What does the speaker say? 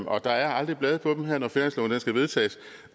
og der er aldrig blade på dem her når finansloven skal vedtages